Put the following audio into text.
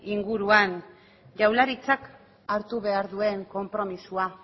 inguruan jaurlaritzak hartu behar duen konpromisoa